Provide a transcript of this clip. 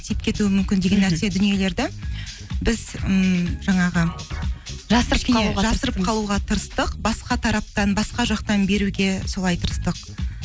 тиіп кетуі мүмкін деген нәрсе дүниелерді біз ммм жаңағы жасырып қалуға тырыстық басқа тараптан басқа жақтан беруге солай тырыстық